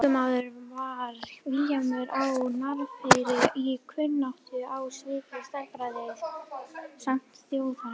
Slíkur maður var Vilhjálmur á Narfeyri í kunnáttu á sviði stærðfræði, sæmd þjóðarinnar.